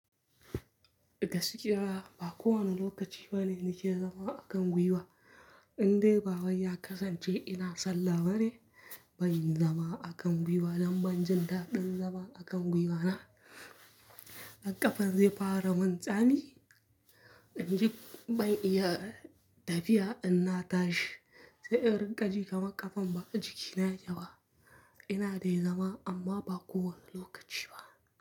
Gaskiya ba kowane lokaci bane nake zama a kan gwiwa. Indai baba ya kasance ina sallah bane, ban zama a kan gwiwa, dambe anjima taɗin zama a kan gwiwa na. Har ƙafan zai fara min tsami. In ji ban iya tafiya inna tashi, sai in rika ji kaman ƙafan ba a jiki na ya ke ba. Ina dai zama amma ba kowane lokaci ba.